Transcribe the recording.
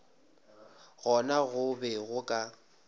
gona go be go ka